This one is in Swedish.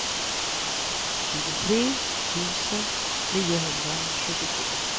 tjugotre tusen niohundrasjuttiosju